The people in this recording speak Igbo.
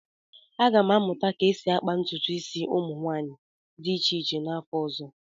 Aga m amụta ka esi akpa ntụtụ isi ụmụ nwanyị dị iche iche n'afọ ọzọ